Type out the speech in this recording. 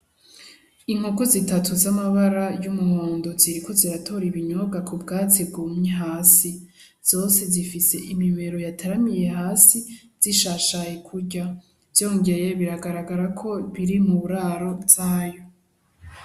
Inkoko zitatu z'amabara y'umuhondo ziriko ziratora intete mubwatsi bwumye hasi zose zifise imibero yataramiye hasi zishashaye kurya vyongeye biragaragarako ziri mu ndaro yazo.